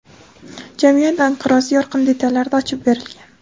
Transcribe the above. jamiyat inqirozi yorqin detallarda ochib berilgan.